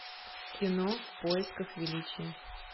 кино в поисках величия